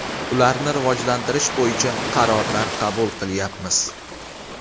Ularni rivojlantirish bo‘yicha qarorlar qabul qilyapmiz.